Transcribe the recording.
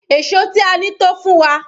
Èṣó tí a ní tó fún wa.